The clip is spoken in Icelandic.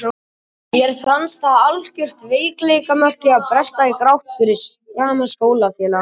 Mér fannst það algjört veikleikamerki að bresta í grát fyrir framan skólafélagana.